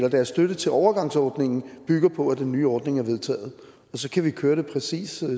at deres støtte til overgangsordningen bygger på at den nye ordning er vedtaget og så kan vi køre det præcis